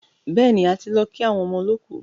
Bẹ́ẹ̀ni, a ti lọ kí àwọn ọmọ olọ́kù.